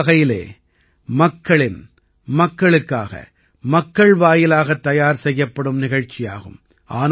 இது ஒரு வகையிலே மக்களின் மக்களுக்காக மக்கள் வாயிலாக தயார் செய்யப்படும் நிகழ்ச்சியாகும்